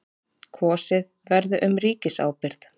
Kosið verði um ríkisábyrgð